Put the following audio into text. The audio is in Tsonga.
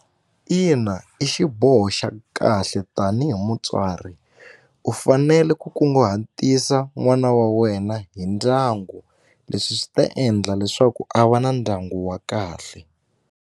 Ina, i xiboho xa kahle tanihi mutswari u fanele ku kunguhatisa n'wana wa wena hi ndyangu leswi swi ta endla leswaku a va na ndyangu wa kahle.